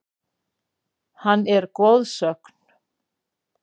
Hann er goðsögn.